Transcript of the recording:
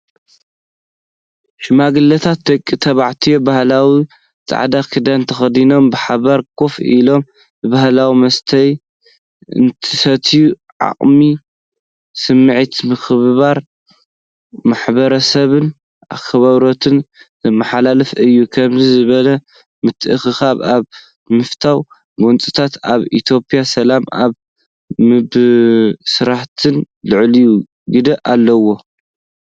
ሽማግለታት ደቂ ተባዕትዮ ባህላዊ ጻዕዳ ክዳን ተኸዲኖም ብሓባር ኮፍ ኢሎም፣ ብባህላዊ መስተዬ እንትሰትዩን ዓሚቝ ስምዒት ምክብባር፡ ማሕበረሰብን ኣኽብሮትን ዘመሓላልፍ እዩ። ከምዚኦም ዝበሉ ምትእኽኻባት ኣብ ምፍታሕ ጎንፅታትን ኣብ ኢትዮጵያ ሰላም ኣብ ምምስራትን ልዑል ግደ ኣለዎም።